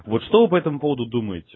вот что вы по этому поводу думаете